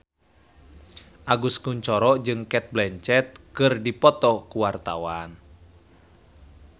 Agus Kuncoro jeung Cate Blanchett keur dipoto ku wartawan